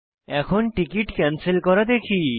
এখন ticket cancel করা দেখি